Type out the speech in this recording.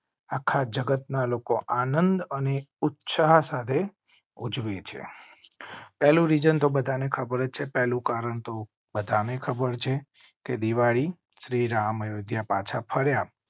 આખા જગતના લોકો આનંદ અને ઉત્સાહ સાથે ઉજવે છે. બધા ને ખબર છે પહેલું કારણ તો બધા ને ખબર છે કે દિવાળી શ્રીરામ અયોધ્યા પાછા ફર્યા.